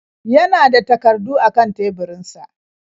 Ya na da takardu a kan teburinsa.